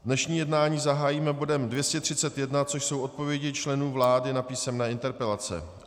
Dnešní jednání zahájíme bodem 231, což jsou odpovědi členů vlády na písemné interpelace.